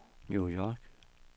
New York